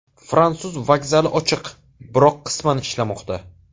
Fransuz vokzali ochiq, biroq qisman ishlamoqda.